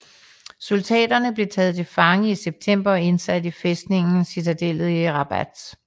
Soldaterne blev taget til fange i september og indsat i fæstningen Citadellet i Rabat